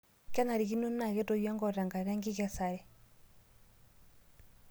Kenarikino naaketoyio enkop tenkata enkikesare.